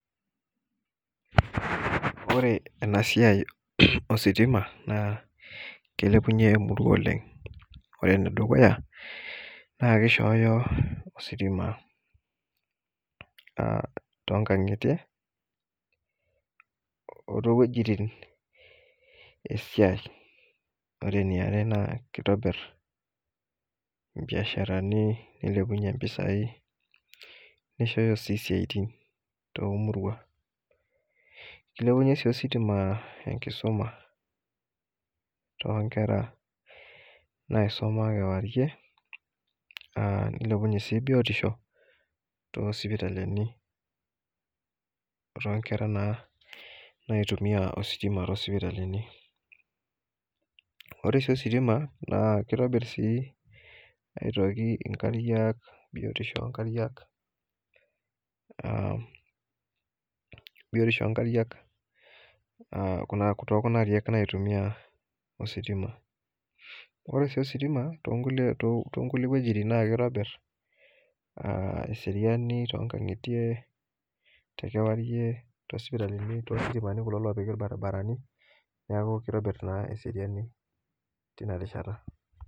Ore enasia ositima na kilepunye emurua oleng amu ore enedukuya na kishooyo ositima tonkangitie otowietin esiai ore enjare na kitobir mbiasharani nilepunye mpisai nishoyo si siatin tomurua kilepunye si ostim enkisum tonkwra naisuma kewarie nilepunye biotisho tosipitalini ore si psitima kitobir biotisho onkariak biotisho onkariak tokuna ariak naitumia ositima ore si ositima na kitobir eseriani to kangitie tositimani kulo opiki irbaribarani neaku kitobir na eseriani tinarishata.